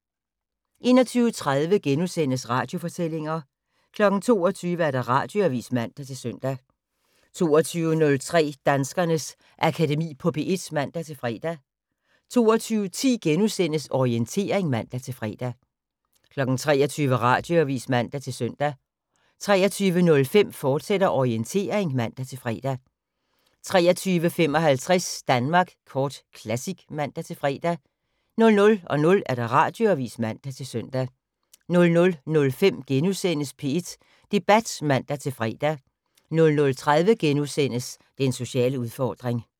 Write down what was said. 21:30: Radiofortællinger * 22:00: Radioavis (man-søn) 22:03: Danskernes Akademi på P1 (man-fre) 22:10: Orientering *(man-fre) 23:00: Radioavis (man-søn) 23:05: Orientering, fortsat (man-fre) 23:55: Danmark Kort Classic (man-fre) 00:00: Radioavis (man-søn) 00:05: P1 Debat *(man-fre) 00:30: Den sociale udfordring *